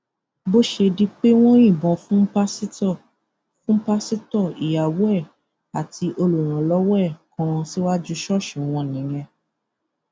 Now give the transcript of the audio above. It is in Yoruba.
bó ṣe di pé wọn yìnbọn fún pásítọ fún pásítọ ìyàwó ẹ àti olùrànlọwọ ẹ kan síwájú ṣọọṣì wọn nìyẹn